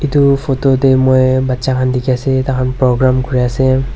Etu photo teh moi bacha khan dikhi ase takhan program kure ase.